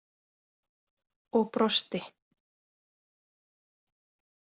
Og brosti!